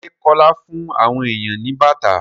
Ṣé Kọ́lá fún àwọn èèyàn ní bàtà?